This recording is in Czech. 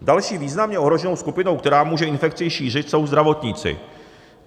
Další významně ohroženou skupinou, která může infekci šířit, jsou zdravotníci.